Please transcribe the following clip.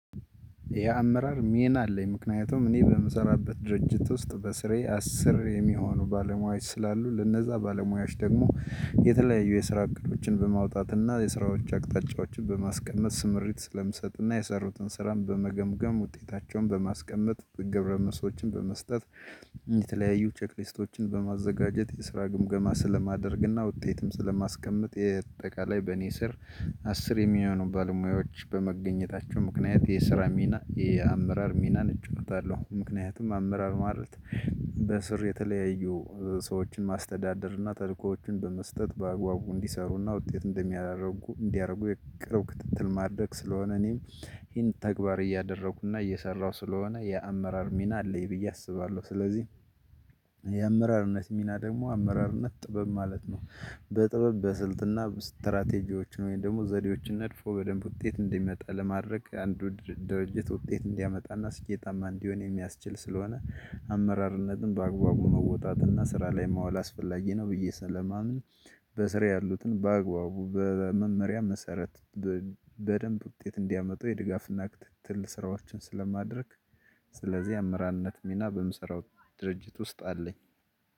የአመራር ሜና አለኝ። ምክንያቱም እኔ በምሰራበት ድርጅት ውስጥ በስሬ አስር የሚሆኑ ባለሙያዎች ስላሉ። ለነዛ ባለሙያዎች ደግሞ የተለያዩ የስራ እቅዶችን በማውጣት እና የስራዎች አቅጣጫዎችን በማስቀመጥ ስምሪት ስለምሰጥና የሰሩትን ስራን በመገምገም፣ ውጤታቸውን በማስቀመጥ፣ ገብረመልሶችን በመስጠት፣ የተለያዩ ቼክሊስቶችን በማዘጋጀት የስራ ግምገማ ስለማደርግና ውጤትም ስለማስቀምጥ። የእጠቃላይ በኔ ስር አስር የሚሆኑ ባለሙያዎች በመገኘታቸው ምክንያት የስራ ሚ፣ የአመራር ሚናን እጫወታለው። ምክንያቱም አመራር ማለት በስር የተለያዩ እ ሰዎችን ማስተዳደር እና ተልእኮዎችን በመስጠት በአግባቡ እንዲሰሩና ውጤት እንደሚያደርጉ እንዲረጉ የቅርብ ክትትል ማድረግ ስለሆነ። እኔም ይሄን ተግባር እያደረኩና እየሰራሁ ስለሆነ የአመራር ሚና አለኝ ብዬ አስባለሁ። ስለዚህ የአመራርነት ሚና ደሞ፣ አመራርነት ጥበብ ማለት ነው። በጥበብ በስልትና ስትራቴጂዎችን ወይም ደሞ ዘዴዎችን ነድፎ በደንብ ውጤት እንዲመጣ ለማድረግ አንዱ ድር ድርጅት ውጤት እንዲያመጣና ስኬታማ እንዲሆን የሚያስችል ስለሆነ አመራርነትን በአግባቡ መወጣትና ስራ ላይ ማዋል አስፈላጊ ነው ብዬ ስለማምን፣ በስራዬ ያሉትን ባግባቡ በመመሪያ መሰረት በ በደንብ ውጤት እንዲያመጡ የድጋፍና ክትትል ስራዎችን ስለማድረግ። ስለዚህ አመራርነት ሚና በምሰራው ድርጅት ውስጥ አለኝ።